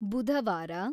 ಬುಧವಾರ